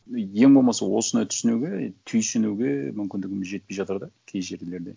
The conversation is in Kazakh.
үй ең болмаса осыны түсінуге түйсінуге мүмкіндігіміз жетпей жатыр да кей жерлерде